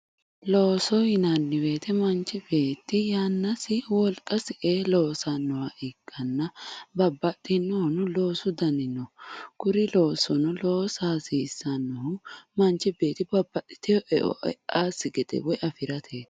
Looso yinanni woyiite manchi beetti yannasi wolqasi ee loosannoha ikkanna babbaxxinohu loosu dani no kuri loosono loosa hasiissannohu manchi beetti babbaxxiteyo eo e'asi gedeeti